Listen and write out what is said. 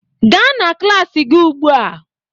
Gaa na klas gị ugbu a!